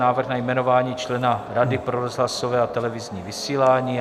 Návrh na jmenování člena Rady pro rozhlasové a televizní vysílání